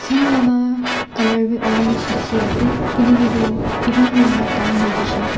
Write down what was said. un laka colour bi orange dikhiase kiley kitu evening laka time hoijaishey.